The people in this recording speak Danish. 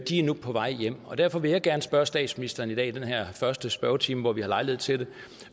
de er nu på vej hjem derfor vil jeg gerne spørge statsministeren i dag i den her første spørgetime hvor vi har lejlighed til det